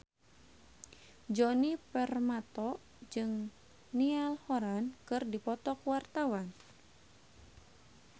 Djoni Permato jeung Niall Horran keur dipoto ku wartawan